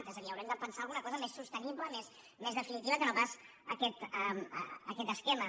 és a dir haurem de pensar alguna cosa més sostenible més definitiva que no pas aquest esquema